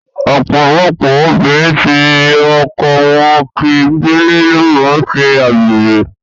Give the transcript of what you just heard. Ọ̀pọ̀lọpọ̀ obìnrin tí ọkọ wọn kì ń gbélé ló máa ń ṣe àgbèrè.